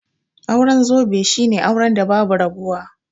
Auren zobe shine auren da babu rabuwa